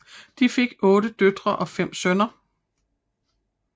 De fik otte døtre og fem sønner